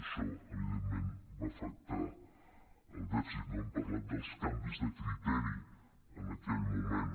això evidentment va afectar el dèficit no hem parlat dels canvis de criteri en aquell moment